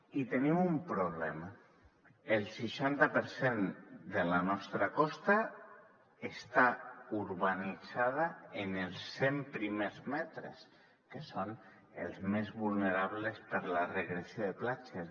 i tenim un problema el seixanta per cent de la nostra costa està urbanitzat en els cent primers metres que són els més vulnerables per la regressió de platges